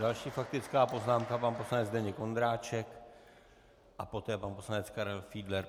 Další faktická poznámka: pan poslanec Zdeněk Ondráček a poté pan poslanec Karel Fiedler.